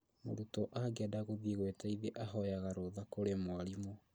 Mũrutwo angĩenda gũthiĩ gwĩteithia ahoyaga rũtha kũrĩ mwarimũ